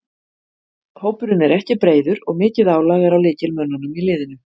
Hópurinn er ekki breiður og mikið álag er á lykilmönnunum í liðinu.